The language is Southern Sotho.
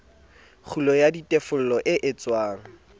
kgulo ya ditefello e etswang